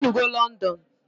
Ijenugo London?